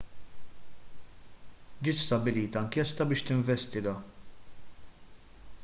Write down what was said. ġiet stabbilita inkjesta biex tinvestiga